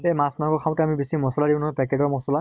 এ মাছ মাংস খাওঁতে আমি বেছি মছলা দিওঁ নহয় packet ৰ মছলা